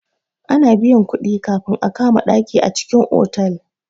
Ana biyan kuɗi kafin a kama ɗaki a cikin otal.